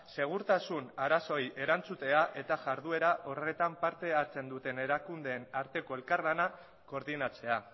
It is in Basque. segurtasun arazoei erantzutea eta jarduera horretan parte hartzen duten erakundeen arteko elkarlana koordinatzea